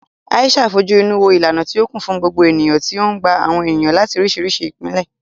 Aisha fojú inú wo ìlànà tí ó kún fún gbogbo ènìyàn tí ó ń gba àwọn ènìyàn láti oríṣiríṣi ìpìlẹ̀.